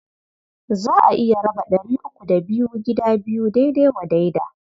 Za a iya raba ɗari uku da biyu gida biyu daidai wa daida.